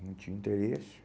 Não tinha interesse.